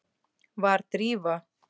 Var Drífa?